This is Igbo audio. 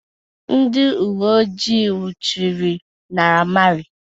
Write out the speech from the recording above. Ndị uwe ojii nwụchiri Naira Marley